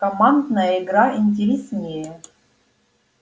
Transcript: командная игра интереснее